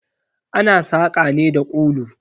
Ana saƙa ne da kulu.